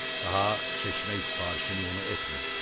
Daha çeşmək sifarişini onu etmirdi.